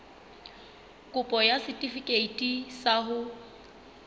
kopo ya setefikeiti sa ho